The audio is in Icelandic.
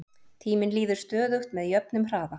tíminn líður stöðugt með jöfnum hraða